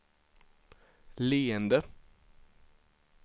leende